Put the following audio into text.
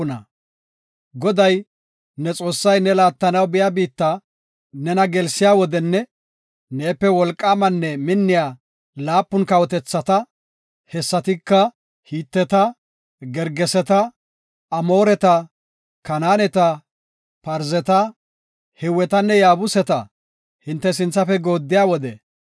Goday, ne Xoossay ne laattanaw biya biitta nena gelsiya wodenne neepe wolqaamanne minniya laapun kawotethata, hessatika Hiteta, Gergeseta, Amooreta, Kanaaneta, Parzeta, Hiwetanne Yaabuseta ne sinthafe gooddiya wode,